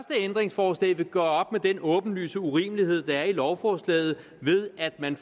ændringsforslag vil gøre op med den åbenlyse urimelighed der er i lovforslaget ved at man